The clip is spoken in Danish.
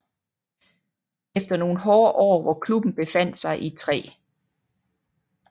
Efter nogle hårde år hvor klubben befandt sig i 3